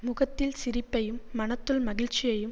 முகத்தில் சிரிப்பையும் மனத்துள் மகிழ்ச்சியையும்